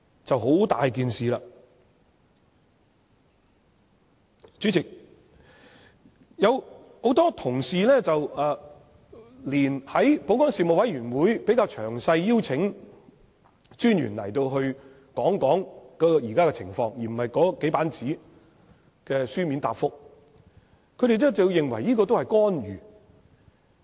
主席，在保安事務委員會會議上，有同事提議邀請專員來詳細講解現在的情況，而不是以這數頁紙作書面答覆，不少人也認為這是干預。